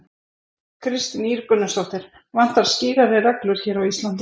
Kristín Ýr Gunnarsdóttir: Vantar skýrari reglur hér á Íslandi?